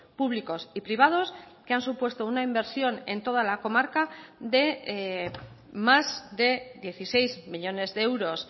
públicos y privados que han supuesto una inversión en toda la comarca de más de dieciséis millónes de euros